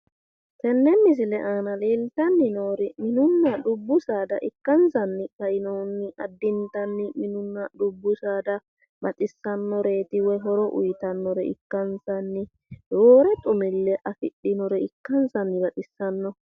tenne misile aana leeltanni noori mininna dubbu saada ikkansanni kainohunni addintanni minunna dubbu saada baxissannoreeti woyi horo uyiitannore ikkansanni roore xumi'le afidhinore ikkansanni baxissanno.